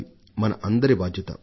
మన అందరి బాధ్యత ఇది